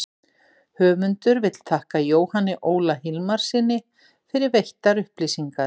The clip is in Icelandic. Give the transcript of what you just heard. höfundur vill þakka jóhanni óla hilmarssyni fyrir veittar upplýsingar